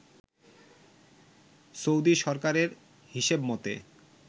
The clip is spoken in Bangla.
সৌদি সরকারের হিসেব মতে